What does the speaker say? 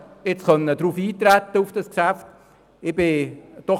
Ich bin froh, dass wir auf das Geschäft haben eintreten können.